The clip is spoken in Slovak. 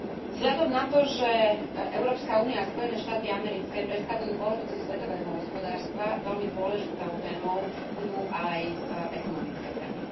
Vzhľadom na to, že Európska únia a Spojené štáty americké predstavujú polovicu svetového hospodárstva, veľmi dôležitou témou budú aj ekonomické témy.